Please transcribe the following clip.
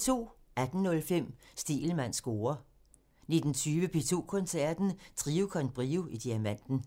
18:05: Stegelmanns score (tir) 19:20: P2 Koncerten – Trio con Brio i Diamanten